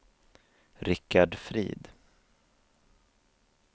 Richard Frid